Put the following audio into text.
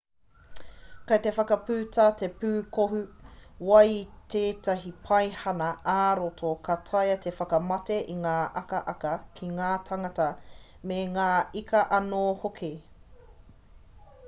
kei te whakaputa te pūkohu wai i tētahi paihana ā-roro ka taea te whakamate i ngā akaaka ki ngā tāngata me ngā ika anō hoki